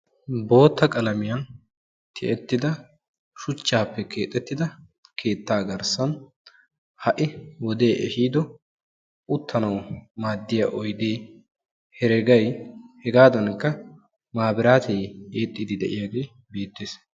bootta qalamiyan tiyettida shuchchaappe keexettida keettaa garssan ha'i wodee ehiido uttanawu maaddiya oyide, heregay, hegaadaanikka maabiraate eexxiiddi de'iyage beettes.